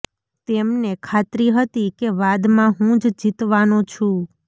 તેમને ખાત્રી હતી કે વાદમાં હું જ જીતવાનો છું